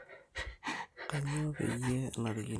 Kanyioo peyie enarikino